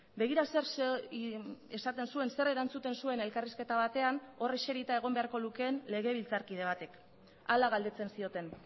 begira zer esaten zuen zer erantzuten zuen elkarrizketa batean hor eserita egon beharko lukeen legebiltzarkide batek hala galdetzen zioten